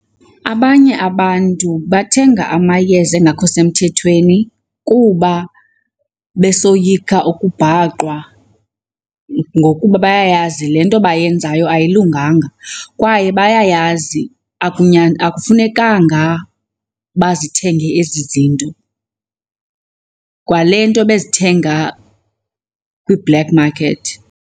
Abanye abantu bathenga amayeza angakho semthethweni kuba besoyika ukubhaqwa ngokuba bayayazi le nto bayenzayo ayilunganga kwaye bayayazi akufunekanga bazithenge ezi zinto, kwale nto bezithenga kwi-black market